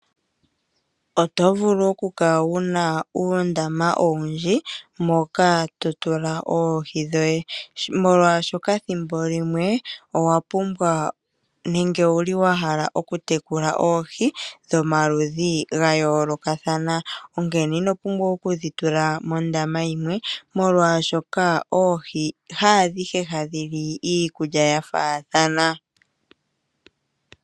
Oto vulu oku kala wuna uundama owundji moka to tula oohi dhoye, molwaashokathimbo limwe owa pumbwa nenge owuli wa hala oku tekula oohi dhomaludhi ga yoolokathana, onkene ino pumbwa oku dhi tula mondama yimwe molwaashoka oohi haadhihe hadhi li iikulya ya faathana.